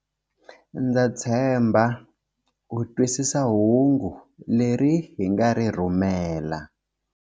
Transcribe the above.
Ndza tshemba u twisisa hungu leri hi nga ri rhumela.